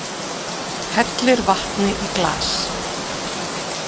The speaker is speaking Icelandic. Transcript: Hellir vatni í glas.